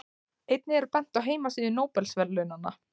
Einnig er bent á heimasíðu Nóbelsverðlaunanna.